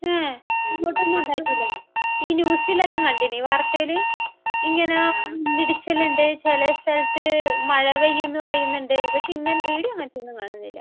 ഏഹ്? ഇങ്ങോട്ടൊന്നും ഉണ്ടായിട്ടില്ല. ഈ ന്യൂസിലെല്ലാം കണ്ടായിരുന്നു. വാർത്തയിൽ. ഇങ്ങനെ ഇടിച്ചിലെണ്ട് ചില സ്ഥലത്ത് മഴ പെയ്യുമെന്ന് പറയുന്നുണ്ട്. പക്ഷെ ഇവിടെ അങ്ങനത്തെ ഒന്നും കാണുന്നില്ല .